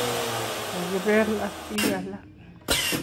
kokibel ak bik alak